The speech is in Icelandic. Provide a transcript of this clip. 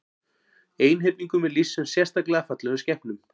Einhyrningum er lýst sem sérstaklega fallegum skepnum.